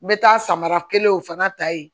N bɛ taa samara kelenw fana ta yen